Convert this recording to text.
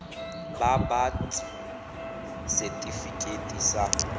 ba ba ts setifikeite sa